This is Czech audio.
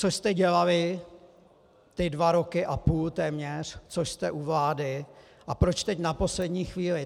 Co jste dělali ty dva roky a půl, téměř, co jste u vlády, a proč teď na poslední chvíli?